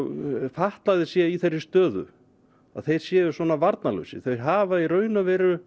fatlaðir séu í þeirri stöðu að þeir séu svona varnarlausir þeir hafa í raun og veru